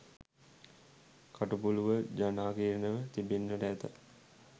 කටුපුලූව ජනාකීර්ණව තිබෙන්නට ඇත